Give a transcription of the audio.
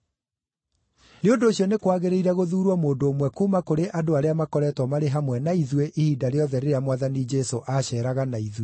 Nĩ ũndũ ũcio nĩ kwagĩrĩire gũthuurwo mũndũ ũmwe kuuma kũrĩ andũ arĩa makoretwo marĩ hamwe na ithuĩ ihinda rĩothe rĩrĩa Mwathani Jesũ aaceeraga na ithuĩ,